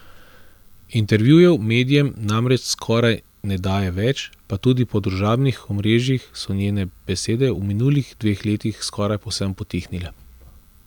Intervjujev medijem namreč skoraj ne daje več pa tudi po družabnih omrežjih so njene besede v minulih dveh letih skoraj povsem potihnile.